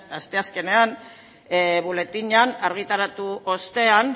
asteazkenean boletinean argitaratu ostean